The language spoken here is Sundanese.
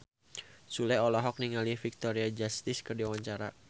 Sule olohok ningali Victoria Justice keur diwawancara